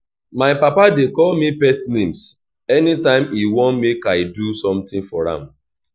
my papa dey call me pet names anytime he wan make i do something for am